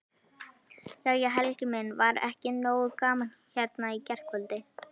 Jæja Helgi minn, var ekki nógu gaman hérna í gærkvöldi?